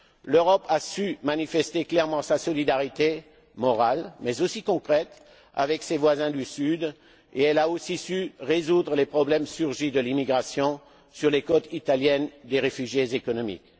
L'Europe a su manifester clairement sa solidarité morale, mais aussi concrète avec ses voisins du sud et elle a aussi su résoudre les problèmes surgis de l'immigration, sur les côtes italiennes, des réfugiés économiques.